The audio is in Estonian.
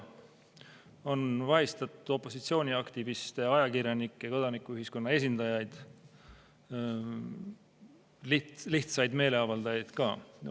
On vahistatud opositsiooniaktiviste, ajakirjanikke ja kodanikuühiskonna esindajaid, lihtsaid meeleavaldajaid ka.